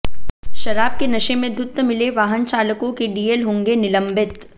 शराब के नशे में धुत्त मिले वाहन चालकों के डीएल होंगे निलंबित